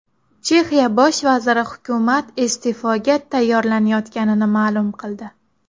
Chexiya bosh vaziri hukumat iste’foga tayyorlanayotganini ma’lum qildi.